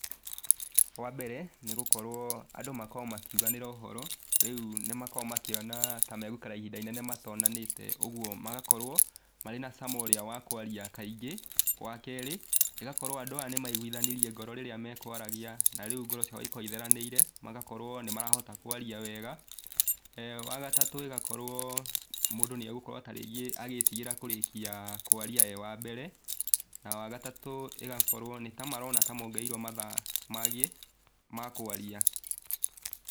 Wa mbere nĩgũkorwo andũ makoragwo makiuganĩra ũhoro, rĩu nĩmakoragwo makĩona ta megũikara ihinda inene matonanĩte ũguo magakorwo marĩ na cama ũrĩa wa kwaria kaingĩ, wa kerĩ, ĩgakorwo andũ aya nĩmeiguthanirie ngoro rĩrĩa mekwaragia, na rĩu ngoro ciao igakorwo itheranĩire, magakorwo nĩmarahota kwaranĩria wega, eeh wa gatatũ, ĩgakorwo mũndũ nĩegũkorwo ta rĩngĩ agĩtigĩra kũrĩkia kwaria e wa mbere, na wa gatatu ĩgakorwo nĩtamarona ta mongereirwo mathaa mangĩ ma kwaria.